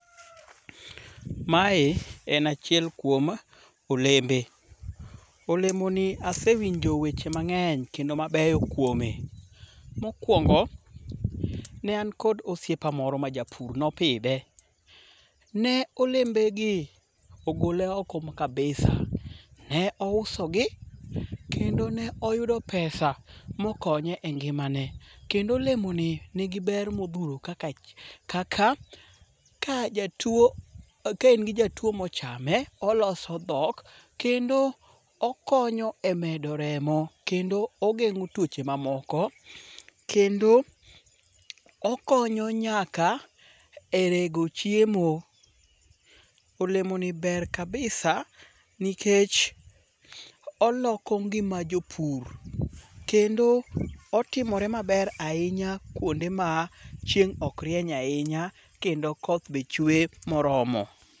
Mae en achiel kuom olembe. Olemoni asewinjo weche mang'eny kendo mabeyo kuome. Mokwongo, ne an kod osiepa moro majapur nopidhe, ne olembegi ogole oko kabisa. Ne ousogi, kendo ne oyudo pesa mokonye e ngimane. Kendo olemoni nigi ber modhuro kaka ka in gi jatuwo mochame, oloso dhok kendo okonyo e medo remo kendo ogeng' tuoche mamoko. Kendo okonyo nyaka e rego chiemo. Olemoni ber kabisa nikech oloko ngima jopur kendo otimore maber ahinya kwonde ma chieng' ok rieny ye ahinya kendo koth be chuwe moromo.